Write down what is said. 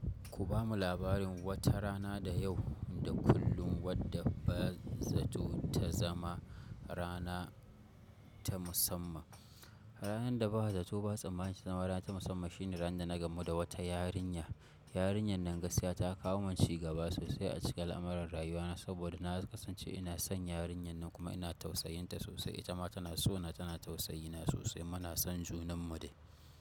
Ku ba mu labarin wata rana da yau da kullum wadda ba zato ta zama rana ta musamman. Ranar da ba zato ba tsammani ta zama rana ta musamman shine ranar da na gamu da wata yarinya. Yarinyar nan gaskiya ta kawo min cigaba sosai a cikin al'amuran rayuwana saboda na kasance ina son yarinyar nan kuma ina tausayinta sosai. Ita ma tana so na tana tausayi na sosai muna son junanmu dai.